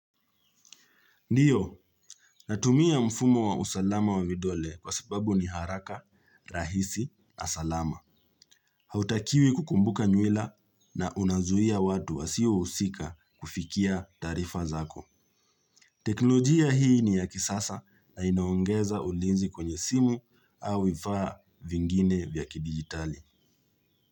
Ndiyo, natumia mfumo wa usalama wa vidole kwa sababu ni haraka, rahisi, na salama. Hautakiwi kukumbuka nywila na unazuia watu wa siwa usika kufikia tarifa zako. Teknolojia hii ni ya kisasa na inaongeza ulinzi kwenye simu au ifaa vingine vya kibigitali.